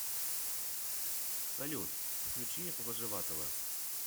салют включи вожеватова